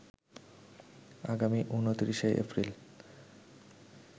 আগামী ২৯শে এপ্রিল